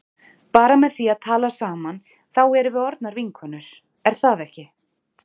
Bara með því að tala saman þá erum við orðnar vinkonur er það ekki?